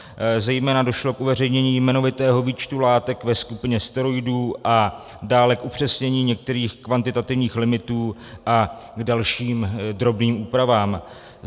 Zejména došlo k uveřejnění jmenovitého výčtu látek ve skupině steroidů a dále k upřesnění některých kvantitativních limitů a k dalším drobným úpravám.